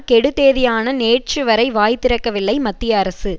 கெடு தேதியான நேற்றுவரை வாய் திறக்கவில்லை மத்திய அரசு